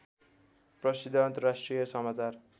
प्रसिद्ध अन्तर्राष्ट्रिय समाचार